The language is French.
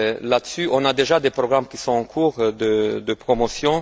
Là dessus, on a déjà des programmes qui sont en cours de promotion.